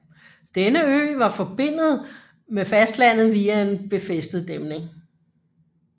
Denne ø var forbindet med fastlandet via en befæstet dæmning